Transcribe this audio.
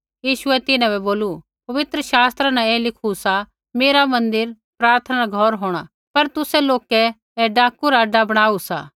यीशुऐ तिन्हां बै बोलू पवित्र शास्त्रा न ऐ लिखु सा मेरा मन्दिर प्रार्थना रा घौर होंणा पर तुसै लोकै ऐ डाकू रा अड्डा बणाऊ सा